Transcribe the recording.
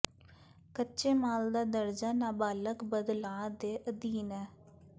ਕੱਚੇ ਮਾਲ ਦਾ ਦਰਜਾ ਨਾਬਾਲਗ ਬਦਲਾਅ ਦੇ ਅਧੀਨ ਹੈ